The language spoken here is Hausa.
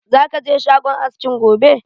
Za ka je shagon askin gobe?